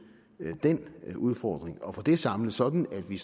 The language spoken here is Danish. den udfordring og få det samlet sådan at vi